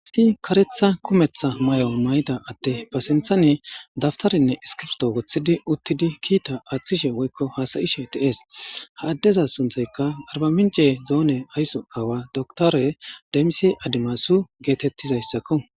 Issi karetha kumetha may7o may7ida atte pasenthane dabtarinne iskibto goththidi uttidi kiita aaththishe woykko haasayishe teees ha addeza sunthaykka arbamince zoone aysso aawa doktore demisi adimasu geetettizayssakko